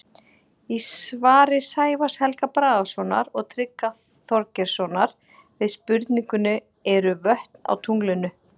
Í svari Sævars Helga Bragasonar og Tryggva Þorgeirssonar við spurningunni Eru vötn á tunglinu?